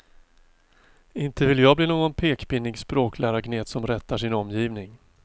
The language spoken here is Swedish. Inte vill jag bli någon pekpinnig språklärargnet som rättar sin omgivning.